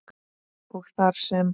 og þar sem